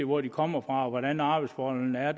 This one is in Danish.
hvor de kommer fra og hvordan arbejdsforholdene er